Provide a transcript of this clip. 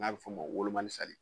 N'a bɛ fɔ o ma wolomali